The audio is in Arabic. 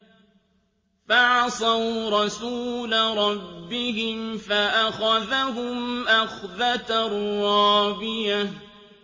فَعَصَوْا رَسُولَ رَبِّهِمْ فَأَخَذَهُمْ أَخْذَةً رَّابِيَةً